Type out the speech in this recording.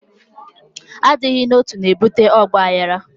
Adịghị n'otu, na-ebute ọgbaghara